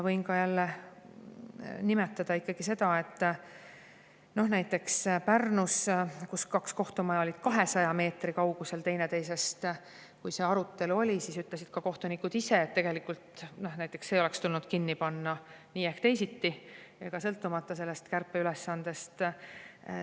Võin nimetada seda, et näiteks Pärnus, kus kaks kohtumaja on olnud teineteisest 200 meetri kaugusel, ütlesid ka kohtunikud ise, kui see arutelu oli, et tegelikult tuleks teine kinni panna nii või teisiti, sõltumata sellest kärpeülesandest.